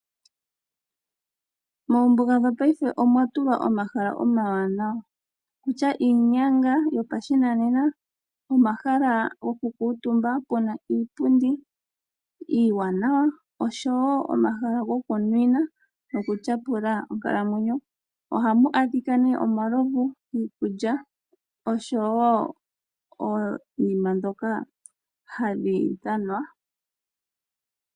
Moombuga dhopaife omwa tulwa omahala omawaanawa, okutya iinyanga yopashinanena, omahala gokukuutumba pu na iipundi iiwanawa noshowo omahala gokunwina nokutyapula onkalamwenyo. Ohamu adhika omalovu, iikulya, osho wo oonima ndhoka hadhi dhanwa.